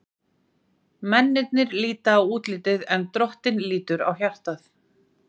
Mennirnir líta á útlitið, en Drottinn lítur á hjartað.